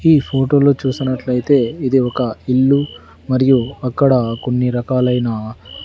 ఈ ఫోటోలో చూసినట్లయితే ఇది ఒక ఇల్లు మరియు అక్కడ కొన్ని రకాలైన--